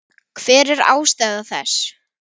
Hver var ástæða þess?